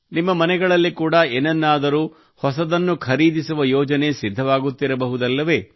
ನಿಮ್ಮ ಮನೆಗಳಲ್ಲಿ ಕೂಡಾ ಏನನ್ನೂದರೂ ಹೊಸದನ್ನು ಖರೀದಿಸುವ ಯೋಜನೆ ಸಿದ್ಧವಾಗುತ್ತಿರಬಹುದಲ್ಲವೇ